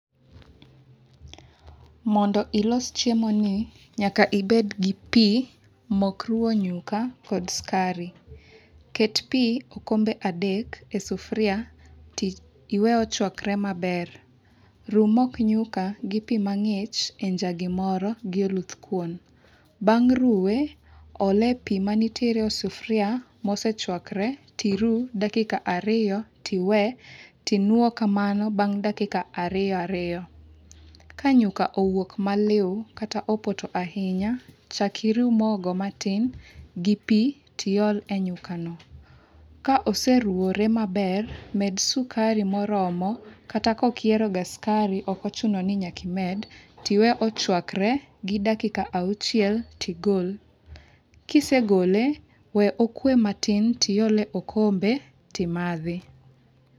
Mondo ilos chiemo ni nyaka ibed gi pi, mok ruo nyuka kod skari. Ket pi okombe adek e sufria to iwe ochwakre maber. Ru mok nyuka gi pi mang'ich e njagi moro gi oluth kuon. Bang' ruwe, ole e pi manitiere e sufria mosechwakre tiru dakika ariyo, tiwe, tinuo kamano bang' dakika ariyo ariyo. Ka nyuka owuok maliw, kata opoto ahinya, chak iru mogo matin gi pi tiol e nyuka no. Ka oseruwore maber, med sukari moromo, kata kok ihero ga skari, okochuno ni nyaka imed, tiwe ochwakre gi dakika auchiel tigol. Kisegole, we okwe matin tiole okombe timadhi.